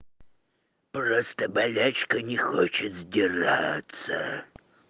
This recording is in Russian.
просто болячка не хочет сдираться